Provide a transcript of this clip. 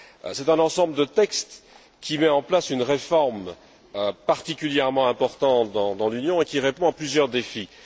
C'est un ensemble de textes qui met en place une réforme particulièrement importante dans l'Union et qui répond à plusieurs défis.